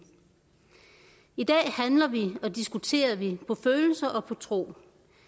i dag handler vi og diskuterer vi på følelser og på tro